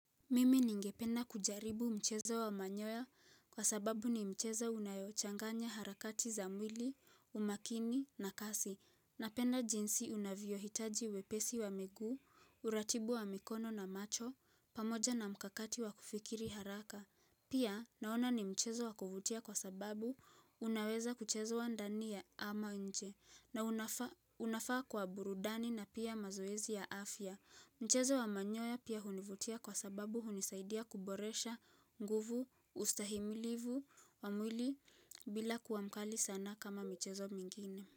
Mimi ningependa kujaribu mchezo wa manyoya kwa sababu ni mchezo unayochanganya harakati za mwili, umakini na kasi. Napenda jinsi inavyohitaji wepesi wa miguu, uratibu wa mikono na macho, pamoja na mkakati wa kufikiri haraka. Pia naona ni mchezo wa kuvutia kwa sababu unaweza kuchezwa ndani ama nje na unafaa kwa burudani na pia mazoezi ya afya. Mchezo wa manyoya pia hunivutia kwa sababu hunisaidia kuboresha, nguvu, ustahimilivu, wa mwili bila kuwa mkali sana kama mchezo mingine.